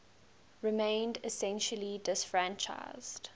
remained essentially disfranchised